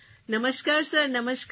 નમસ્કાર સર નમસ્કાર સર